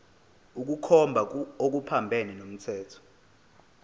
ukukhomba okuphambene nomthetho